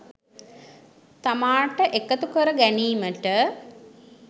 තමාට එකතු කර ගැනීමට